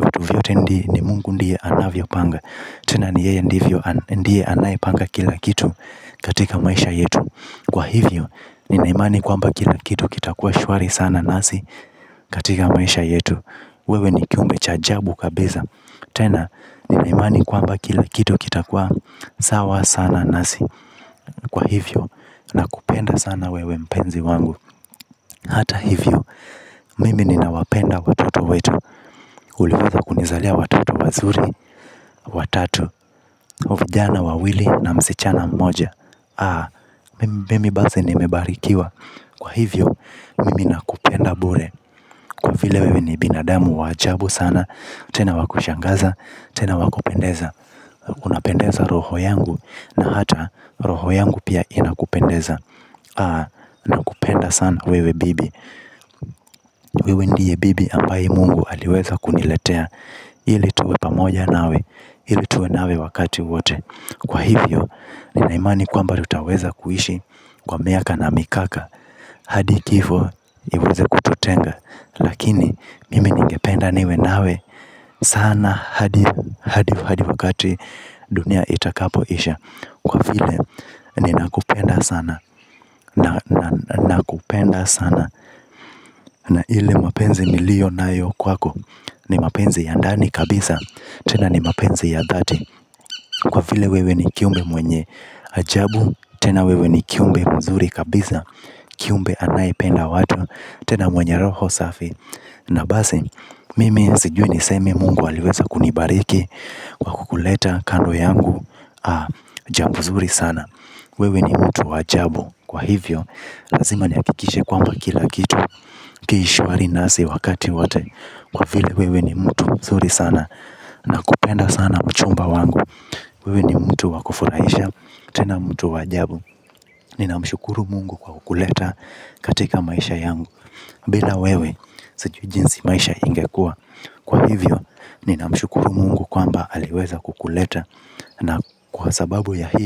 vitu vyote ndi ni mungu ndiye anavyopanga. Tena ni yeye ndivyo ndiye anayepanga kila kitu katika maisha yetu kwa hivyo nina imani kwamba kila kitu kita kuwa shwari sana nasi katika maisha yetu. Wewe ni kiumbe cha ajabu kabisa tena, nina imani kwamba kila kitu kitakuwa, sawa sana nasi kwa hivyo, nakupenda sana wewe mpenzi wangu. Hata hivyo, mimi ninawapenda watoto wetu. Uliweza kunizalia watoto wazuri, watatu, vijana wawili na msichana mmoja, mimi basi nimebarikiwa kwa hivyo, mimi ninakupenda bure kwa vile wewe ni binadamu wa ajabu sana. Tena wa kushangaza, tena wa kupendeza unapendeza roho yangu na hata roho yangu pia inakupendeza nakupenda sana wewe bibi. Wewe ndiye bibi ambaye mungu aliweza kuniletea ili tuwe pamoja nawe ili tuwe nawe wakati wote kwa hivyo, nina imani kwamba tutaweza kuishi kwa miaka na mikaka hadi kifo, iweze kututenga. Lakini, mimi ningependa niwe nawe. Sana hadi wakati. Dunia itakapo isha kwa vile ninakupenda sana. Nakupenda sana. Na ile mapenzi nilio nayo kwako. Ni mapenzi ya ndani kabisa. Tena ni mapenzi ya dhati kwa vile wewe ni kiumbe mwenye. Ajabu. Tena wewe ni kiumbe mzuri kabisa. Kiumbe anayependa watu. Tena mwenye roho safi na basi. Mimi sijuo nisemi mungu aliweza kunibariki kwa kukuleta kando yangu. Jambo zuri sana. Wewe ni mtu wa ajabu kwa hivyo, lazima nihakikishe kwamba kila kitu kiishwari nasi wakati wote kwa vile wewe ni mtu zuri sana. Na kupenda sana mchumba wangu. Wewe ni mtu wa kufurahisha. Tena mtu wa ajabu. Nina mshukuru mungu kwa kukuleta katika maisha yangu. Bila wewe, sijui jinsi maisha ingekuwa kwa hivyo, nina mshukuru mungu kwamba aliweza kukuleta na kwa sababu ya hii.